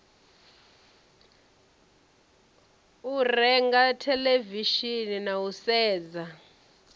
renga theḽevishini na u sedza